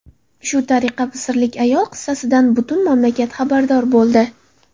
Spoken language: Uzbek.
Shu tariqa misrlik ayol qissasidan butun mamlakat xabardor bo‘ldi.